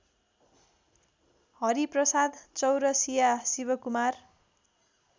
Hariprasad Chaurasia Shivkumar